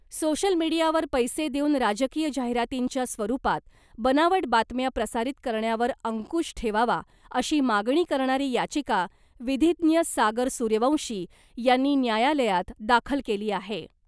Social मीडियावर पैसे देऊन राजकीय जाहिरातींच्या स्वरुपात बनावट बातम्या प्रसारित करण्यावर अंकुश ठेवावा, अशी मागणी करणारी याचिका विधीज्ञ सागर सूर्यवंशी यांनी न्यायालयात दाखल केली आहे .